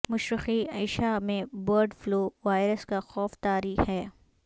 مشرقی ایشا میں bird flu virus کا خوف طاری ہے